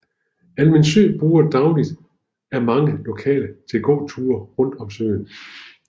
Almindsø bruges dagligt af mange lokale til gåture rundt om søen